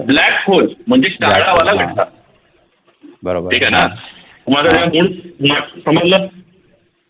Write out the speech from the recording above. blackhole म्हणजेच काळावाला समजल?